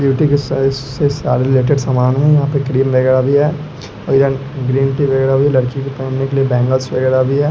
Beauty की side से सारे रिलेटेड समान है यहां पे क्रीम वगैरा भी है और यहां ग्रीन टी वगैरा भी लड़की के पेहनने के लिए बैंगल्स वगैरा भी है।